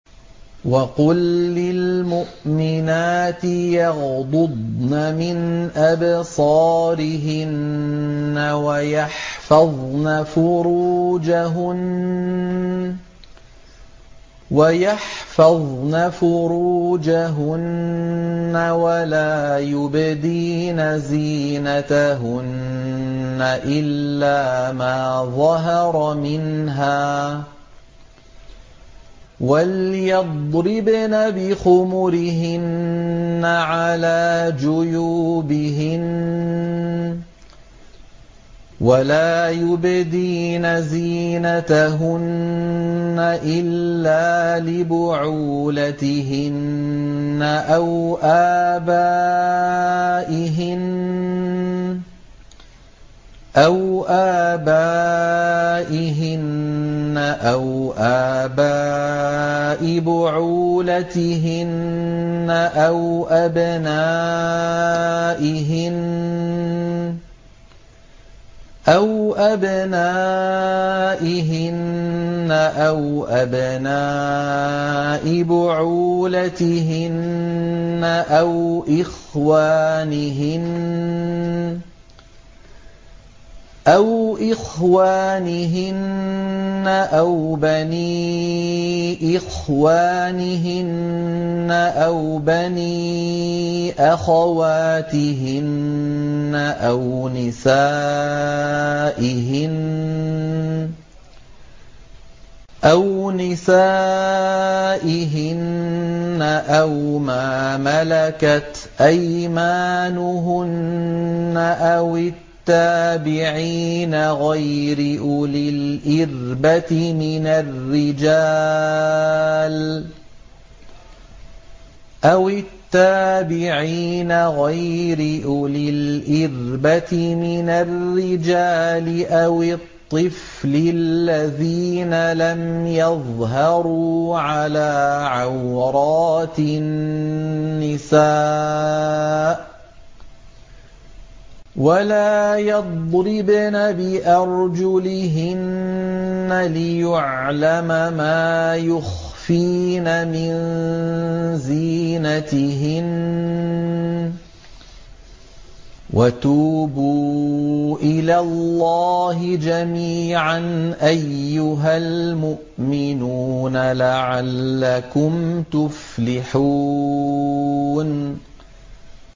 وَقُل لِّلْمُؤْمِنَاتِ يَغْضُضْنَ مِنْ أَبْصَارِهِنَّ وَيَحْفَظْنَ فُرُوجَهُنَّ وَلَا يُبْدِينَ زِينَتَهُنَّ إِلَّا مَا ظَهَرَ مِنْهَا ۖ وَلْيَضْرِبْنَ بِخُمُرِهِنَّ عَلَىٰ جُيُوبِهِنَّ ۖ وَلَا يُبْدِينَ زِينَتَهُنَّ إِلَّا لِبُعُولَتِهِنَّ أَوْ آبَائِهِنَّ أَوْ آبَاءِ بُعُولَتِهِنَّ أَوْ أَبْنَائِهِنَّ أَوْ أَبْنَاءِ بُعُولَتِهِنَّ أَوْ إِخْوَانِهِنَّ أَوْ بَنِي إِخْوَانِهِنَّ أَوْ بَنِي أَخَوَاتِهِنَّ أَوْ نِسَائِهِنَّ أَوْ مَا مَلَكَتْ أَيْمَانُهُنَّ أَوِ التَّابِعِينَ غَيْرِ أُولِي الْإِرْبَةِ مِنَ الرِّجَالِ أَوِ الطِّفْلِ الَّذِينَ لَمْ يَظْهَرُوا عَلَىٰ عَوْرَاتِ النِّسَاءِ ۖ وَلَا يَضْرِبْنَ بِأَرْجُلِهِنَّ لِيُعْلَمَ مَا يُخْفِينَ مِن زِينَتِهِنَّ ۚ وَتُوبُوا إِلَى اللَّهِ جَمِيعًا أَيُّهَ الْمُؤْمِنُونَ لَعَلَّكُمْ تُفْلِحُونَ